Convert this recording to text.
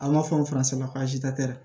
An b'a fɔ farasɛlakasi ta tɛ dɛ